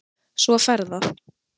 Svo fer það.